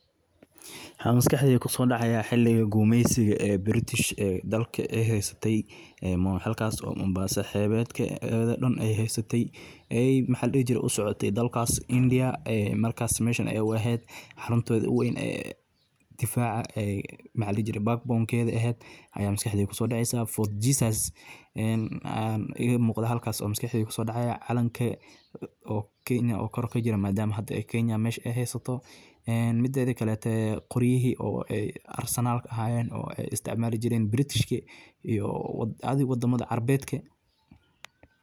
Waxa makaxdeyda kusodacayo xiliga gumeysiga ee Britishee dalka ay haysatay halkas oo Mombasa xeebedkedha daan ay heysatay Maxa ladihi jiray usacoti dalkas india markas mesha ay u ehed xuruntodha ugu weyn ee difaca mxa ladihi jiri backbone kedha ehed aya makaxdeyda kusodaceyso foot jesus ee igamuqda halkas ee makaxdeyda kusodacayo calanka oo kenya oo kor kajira madama hada Kenya mesha ay heysato en midedha kaleto qoryihi oo arsenalka ahayeen o ay isticmali jiren britishki oo wadamadha carbedka